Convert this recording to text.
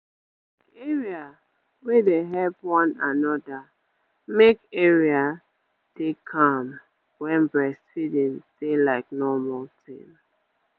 like area wey dey help one another make area dey calm wen breastfeeding dey like normal tin